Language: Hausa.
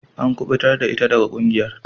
An kubutar da ita daga kungiyar.